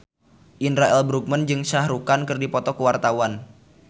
Indra L. Bruggman jeung Shah Rukh Khan keur dipoto ku wartawan